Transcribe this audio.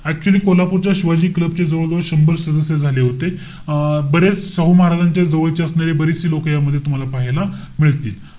Actually कोल्हापूरच्या शिवाजी क्लबचे जवळजवळ शंभर सदस्य झाले होते. अं बरेच शाहू महाराजांच्या जवळचे असणारे बरेचसे लोक यामध्ये तुम्हाला पाहायला मिळतील.